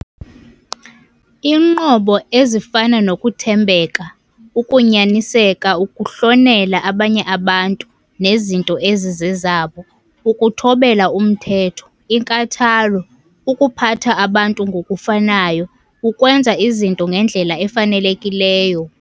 Iinqobo ezifana nokuthembeka, ukunyaniseka, ukuhlonela abanye abantu nezinto ezizezabo, ukuthobela umthetho, inkathalo, ukuphatha abantu ngokufanayo, ukwenza izinto ngendlela efanelekileyo.